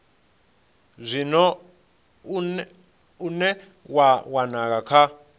zwino une wa wanala kha